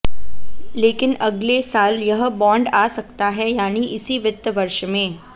लेकिन अगले साल यह बॉन्ड आ सकता है यानी इसी वित्त वर्ष में